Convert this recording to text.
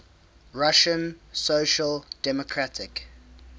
russian social democratic